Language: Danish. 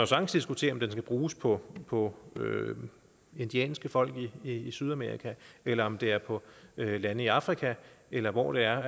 sagtens diskutere om den skal bruges på på indianske folk i sydamerika eller om det er på lande i afrika eller hvor det er